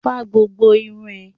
Fá gbogbo irun ẹ!